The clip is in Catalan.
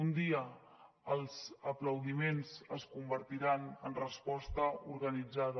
un dia els aplaudiments es convertiran en resposta organitzada